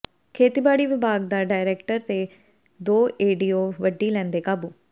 ਖੇਤੀਬਾੜੀ ਵਿਭਾਗ ਦਾ ਡਾਇਰੈਕਟਰ ਤੇ ਦੋ ਏਡੀਓ ਵੱਢੀ ਲੈਂਦੇ ਕਾਬੂ